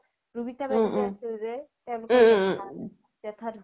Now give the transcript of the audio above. ৰুবিতা বা বুলি আছিল জে তেওলোকৰ জেথা ধুকাল